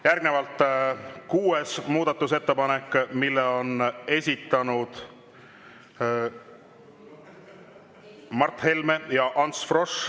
Järgnevalt kuues muudatusettepanek, mille on esitanud Mart Helme ja Ants Frosch.